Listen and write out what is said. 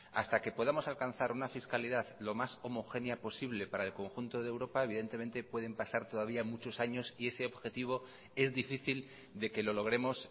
hasta que podamos alcanzar una fiscalidad lo más homogénea posible para el conjunto de europa evidentemente pueden pasar todavía muchos años y ese objetivo es difícil de que lo logremos